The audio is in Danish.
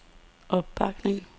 opbakning